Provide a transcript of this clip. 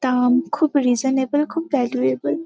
দাম খুব রিসনাবেল খুব ভ্যালুএবল ।